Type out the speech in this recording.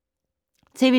TV 2